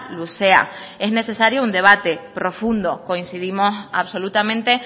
luzea es necesario un debate profundo coincidimos absolutamente